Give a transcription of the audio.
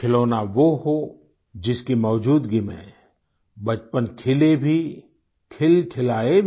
खिलौना वो हो जिसकी मौजूदगी में बचपन खिले भी खिलखिलाए भी